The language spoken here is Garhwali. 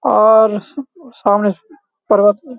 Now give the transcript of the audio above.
और स सामने पर्वत --